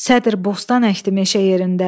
Sədr bostan əkdi meşə yerində.